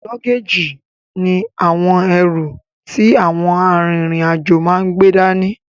Lọ́géèjì ní àwọn ẹrù ti àwọn a rin ìrìn àjò máa n gbé dání